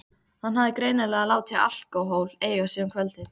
Hann hafði greinilega látið alkóhól eiga sig um kvöldið.